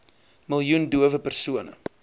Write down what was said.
miljoen dowe persone